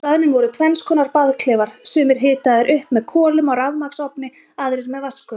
Á staðnum voru tvennskonar baðklefar, sumir hitaðir upp með kolum á rafmagnsofni, aðrir með vatnsgufu.